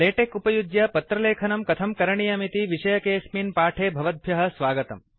LaTeX उपयुज्य पत्रलेखनं कथं करणीयमिति विषयकेऽस्मिन् पाठे भवद्भ्यः स्वागतम्